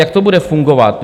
Jak to bude fungovat?